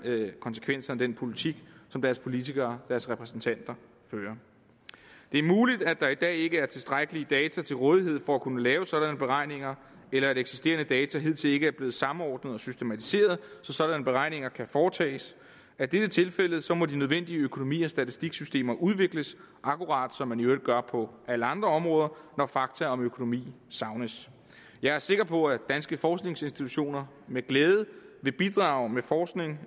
konsekvenserne af den politik som deres politikere deres repræsentanter fører det er muligt at der i dag ikke er tilstrækkelige data til rådighed for at kunne lave sådanne beregninger eller at eksisterende data hidtil ikke er blevet samordnet og systematiseret så sådanne beregninger kan foretages er dette tilfældet må de nødvendige økonomi og statistiksystemer udvikles akkurat som man i øvrigt gør på alle andre områder når fakta om økonomi savnes jeg er sikker på at danske forskningsinstitutioner med glæde vil bidrage med forskning